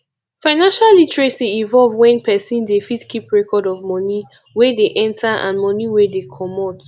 financial literacy involve when person dey fit keep record of money wey dey enter and money wey dey comot